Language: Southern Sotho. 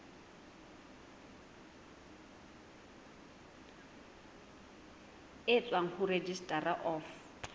e tswang ho registrar of